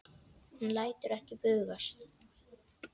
Hann lætur ekki bugast.